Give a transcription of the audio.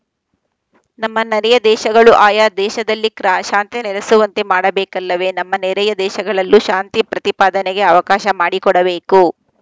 ನಮ್ಮ ನರೆಯ ದೇಶಗಳೂ ಆಯಾ ದೇಶದಲ್ಲಿ ಕ್ರಾ ಶಾಂತಿ ನೆಲೆಸುವಂತೆ ಮಾಡಬೇಕಲ್ಲವೇ ತಮ್ಮ ನೆರೆಯ ದೇಶಗಳಲ್ಲೂ ಶಾಂತಿ ಪ್ರತಿಪಾದನೆಗೆ ಅವಕಾಶ ಮಾಡಿಕೊಡಬೇಕು